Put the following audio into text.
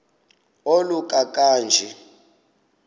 oluka ka njl